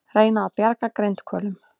Reyna að bjarga grindhvölum